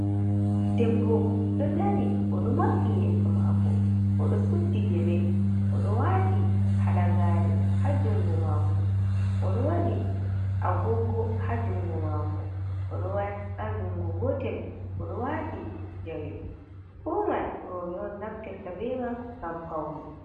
Debbo do dari o do mambi yeso mako odo suddi gele odo wati halagare, ha jungo mako odo wadi agogo ha jungo mako, odo ha jungo gotel odo wati jawe fu man robe on naftirta be man gam paune.